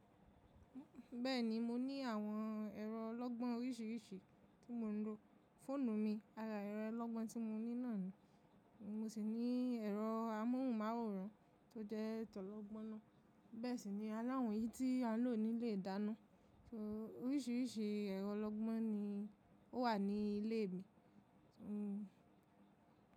Bẹ́ẹ̀ni, mo ní àwọn ẹ̀rọ olọ́gbọ́n oríṣiríṣi tí mò ń lò. Fóònù mi, ara ẹ̀rọ olọ́gbọ́n tí mo ní náà nù, mo sì ní ẹ̀rọ amóhùnmáwòrán tó jẹ́ ìtàn olọ́gbọ́n ná. Bẹ́ẹ̀ sì ni a láwòn eyi tí a n lò ní ilé ìdáná. So oríṣiríṣi ẹ̀rọ olọ́gbọ́n ni ó wà ní ilé mi. Hmm.